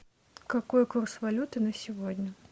какой курс валюты на сегодня